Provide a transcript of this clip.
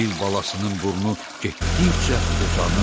Fil balasının burnu getdikcə uzanırdı.